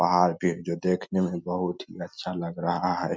पहाड़ भी जो देखने में बहुत ही अच्छा लग रहा है।